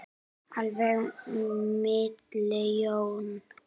Alveg milljón manns!